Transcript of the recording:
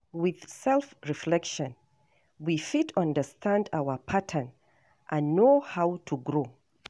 With self reflection we fit understand our pattern and know how to grow